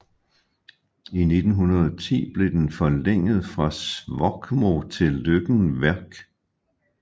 I 1910 blev den forlænget fra Svorkmo til Løkken Værk